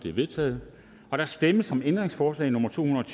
er vedtaget der stemmes om ændringsforslag nummer to hundrede og